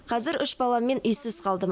қазір үш баламмен үйсіз қалдым